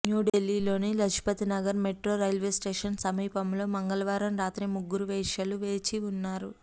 న్యూఢిల్లీని లజ్పత్నగర్ metro railway station సమీపంలో మంగళవారం రాత్రి ముగ్గురు వేశ్యలు వేచి ఉన్నారు